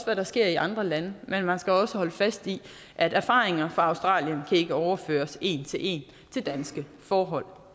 hvad der sker i andre lande men man skal også holde fast i at erfaringer fra australien ikke kan overføres en til en til danske forhold